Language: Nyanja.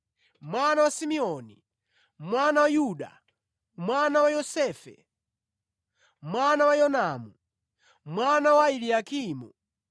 mwana wa Simeoni, mwana wa Yuda, mwana wa Yosefe, mwana wa Yonamu, mwana wa Eliakimu,